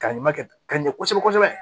Ka ɲuman kɛ ka ɲɛ kosɛbɛ kosɛbɛ